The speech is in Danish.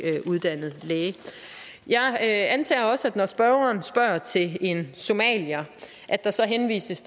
uddannet læge jeg antager også at når spørgeren spørger til en somalier så henvises